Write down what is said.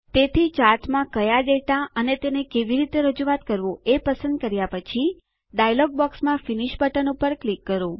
તેથી ચાર્ટમાં કયા ડેટા અને તેને કેવી રીતે રજૂઆત કરવું એ પસંદ કર્યા પછી ડાયલોગ બોક્સમાં ફિનિશ બટન પર ક્લિક કરો